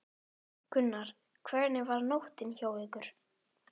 Gunnar: Hvernig var nóttin hjá ykkur?